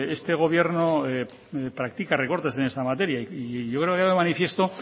que este gobierno practica recortes en esta materia y yo creo queda de manifiesto